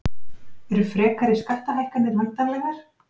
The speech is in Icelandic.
Eru frekari skattahækkanir væntanlegar